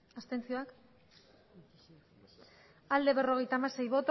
abstentzioa berrogeita hamasei